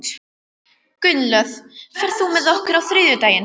Gunnlöð, ferð þú með okkur á þriðjudaginn?